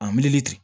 A miiri ten